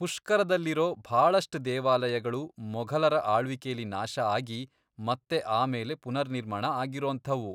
ಪುಷ್ಕರದಲ್ಲಿರೋ ಭಾಳಷ್ಟ್ ದೇವಾಲಯಗಳು ಮೊಘಲರ ಆಳ್ವಿಕೆಲಿ ನಾಶ ಆಗಿ ಮತ್ತೆ ಆಮೇಲೆ ಪುನರ್ನಿರ್ಮಾಣ ಆಗಿರೋಂಥವು.